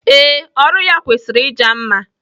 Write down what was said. Ee, ọrụ ya kwesịrị ịja mma.